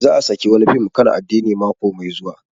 Za a saki wani fim akan addini mako mai zuwa